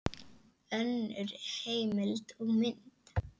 Önnur heimild og mynd